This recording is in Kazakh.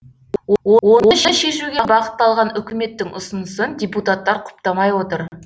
оны шешуге бағытталған үкіметтің ұсынысын депутаттар құптамай отыр